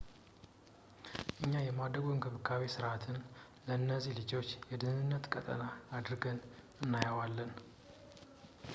እኛ የማደጎ እንክብካቤ ሥርዓትን ለነዚህ ልጆች የደኅንነት ቀጠና አድርገን እናየዋለን